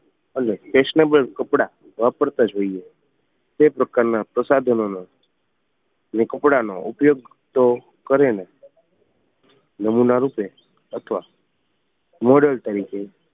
અને ફેશનેબલ કપડાં વાપરતા જ હોઈએ તે પ્રકાર ના પ્રસાધનોનો ને કપડાં નો ઉપયોગ તો કરે ને નમૂના રૂપે અથવા મોડલ તરીકે